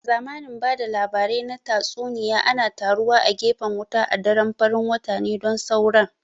A zamanin ba da labarai na tatsuniya ana taruwa a gefen wuta a daren farin wata ne don sauren